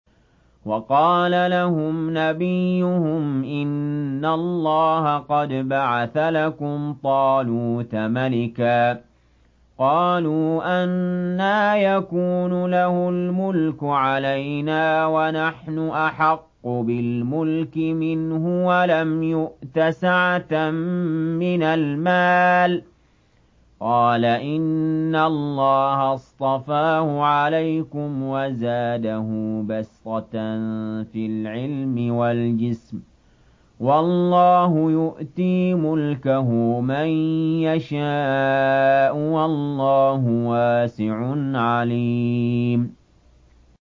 وَقَالَ لَهُمْ نَبِيُّهُمْ إِنَّ اللَّهَ قَدْ بَعَثَ لَكُمْ طَالُوتَ مَلِكًا ۚ قَالُوا أَنَّىٰ يَكُونُ لَهُ الْمُلْكُ عَلَيْنَا وَنَحْنُ أَحَقُّ بِالْمُلْكِ مِنْهُ وَلَمْ يُؤْتَ سَعَةً مِّنَ الْمَالِ ۚ قَالَ إِنَّ اللَّهَ اصْطَفَاهُ عَلَيْكُمْ وَزَادَهُ بَسْطَةً فِي الْعِلْمِ وَالْجِسْمِ ۖ وَاللَّهُ يُؤْتِي مُلْكَهُ مَن يَشَاءُ ۚ وَاللَّهُ وَاسِعٌ عَلِيمٌ